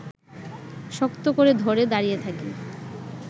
শক্ত করে ধরে দাঁড়িয়ে থাকি